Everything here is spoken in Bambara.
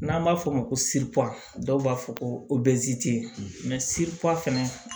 N'an b'a fɔ o ma ko dɔw b'a fɔ ko fɛnɛ